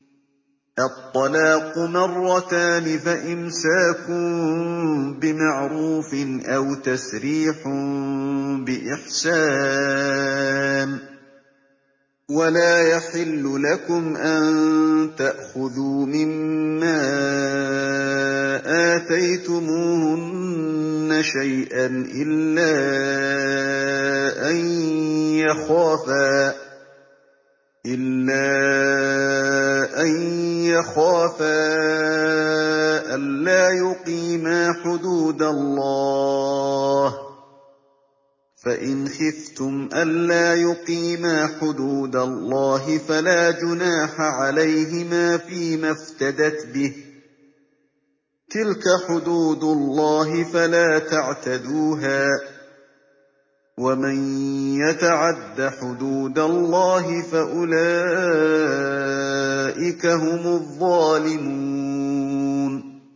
الطَّلَاقُ مَرَّتَانِ ۖ فَإِمْسَاكٌ بِمَعْرُوفٍ أَوْ تَسْرِيحٌ بِإِحْسَانٍ ۗ وَلَا يَحِلُّ لَكُمْ أَن تَأْخُذُوا مِمَّا آتَيْتُمُوهُنَّ شَيْئًا إِلَّا أَن يَخَافَا أَلَّا يُقِيمَا حُدُودَ اللَّهِ ۖ فَإِنْ خِفْتُمْ أَلَّا يُقِيمَا حُدُودَ اللَّهِ فَلَا جُنَاحَ عَلَيْهِمَا فِيمَا افْتَدَتْ بِهِ ۗ تِلْكَ حُدُودُ اللَّهِ فَلَا تَعْتَدُوهَا ۚ وَمَن يَتَعَدَّ حُدُودَ اللَّهِ فَأُولَٰئِكَ هُمُ الظَّالِمُونَ